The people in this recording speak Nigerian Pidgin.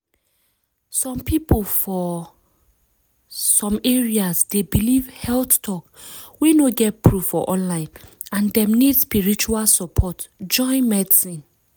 some people for some areas dey believe health talk wey no get proof for online and dem need spiritual support join medicine.